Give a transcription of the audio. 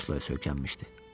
Kresloya söykənmişdi.